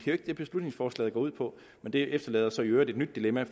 jo ikke det beslutningsforslaget går ud på det efterlader så i øvrigt et nyt dilemma